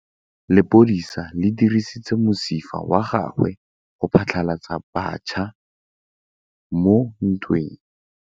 Lepodisa le dirisitse mosifa wa gagwe go phatlalatsa batšha mo ntweng.